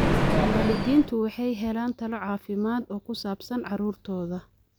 Waalidiintu waxay helaan talo caafimaad oo ku saabsan carruurtooda.